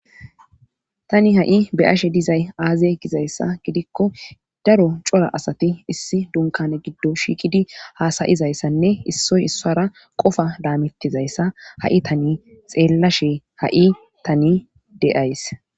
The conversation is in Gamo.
Tani ha'i beyashe dizay aaze gizayssa gidikko daro cora asati issi dunkane giddo shiiqidi haasayizayssanne issoy issara qofa daamittizayssa ha'i tani xeellashe ha'i tani deays.